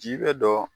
Ji bɛ dɔ